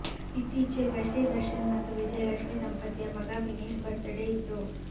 ಇತ್ತೀಚೆಗೆಷ್ಟೆ ದರ್ಶನ್ ಮತ್ತು ವಿಜಯಲಕ್ಷ್ಮಿ ದಂಪತಿಯ ಮಗ ವಿನೀಶ್ ಬರ್ತ್ ಡೇ ಇತ್ತು